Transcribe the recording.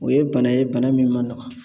O ye bana ye, bana min man nɔgɔ.